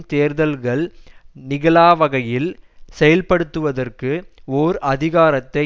தேர்தல்கள் நிகழாவகையில் செயல்படுத்துவதற்கு ஒர் அதிகாரத்தை